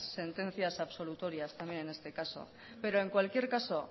sentencias absolutorias también en este caso pero en cualquier caso